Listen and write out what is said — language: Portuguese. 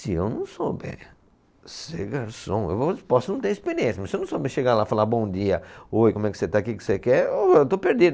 Se eu não souber ser garçom, eu posso não ter experiência, mas se eu não souber chegar lá e falar bom dia, oi, como é que você está, o que você quer, ô, eu estou perdido.